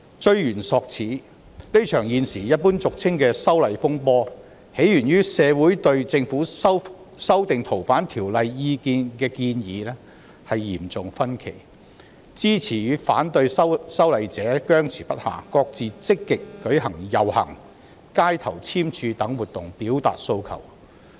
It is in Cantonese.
追源溯始，這場現時俗稱的"修例風波"，起源於社會對政府修訂《逃犯條例》的建議出現嚴重意見分歧，支持與反對修例者僵持不下，各自積極舉行遊行、街頭聯署等活動表達訴求。